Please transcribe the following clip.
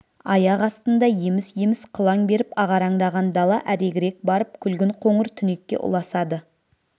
аяқ астында еміс-еміс қылаң беріп ағараңдаған дала әрегірек барып күлгін қоңыр түнекке ұласады